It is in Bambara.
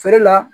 Feere la